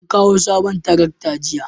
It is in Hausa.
an kawo sabon tarakta jiya